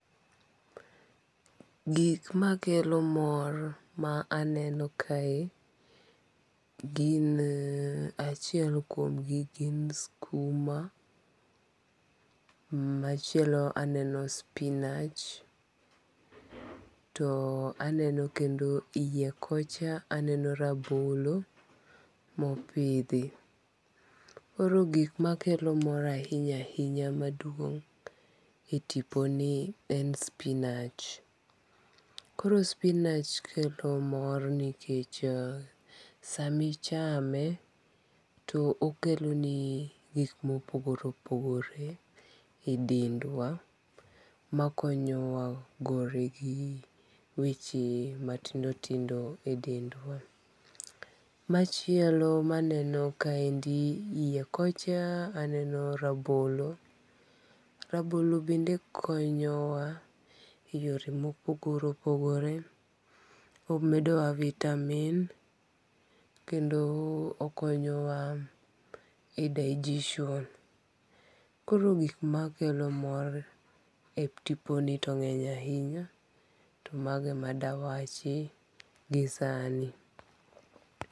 Gik makelo mor ma aneno kae, gin achiel kuomgi gin skuma, machielo aneno spinach to aneno kendo hiye kocha aneno rabolo mopithi, koro gik makelo mor ahinya ahinya maduong' e tiponi en spinach, koro spinach kelo mor nikech samichame okeloni gik ma opogore opogore e dendwa, makonyowa gore gi weche matindi tindo e ndendwa, machielo maneno kaendi hiye koch aneno rabolo, rabolo bende konyowa e yore ma opogore opogore, omedowa vitamin kendo okonyowa e digestion, koro gik makelo mor e tiponi to nge'ny ahinya to mago e madawachi gisani.